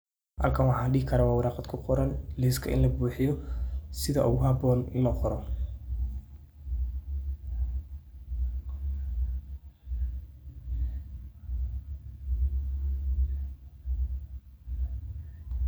Halkan waxa dehi karah wa Qaar ku Qoran liska ini labuxeyoh setha ugu haboon ini laqoroh .